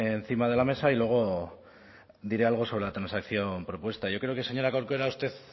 encima de la mesa y luego diré algo sobre la transacción propuesta yo creo que señora corcuera usted